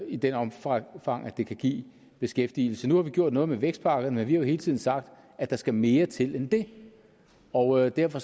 i det omfang omfang at det kan give beskæftigelse nu har vi gjort noget med vækstpakkerne vi har jo hele tiden sagt at der skal mere til end det og derfor